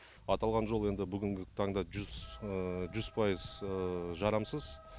аталған жол енді бүгінгі таңда жүз пайыз жарамсыз